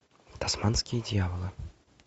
тасманские дьяволы